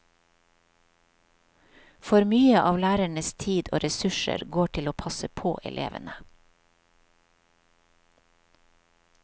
For mye av lærernes tid og ressurser går til å passe på elevene.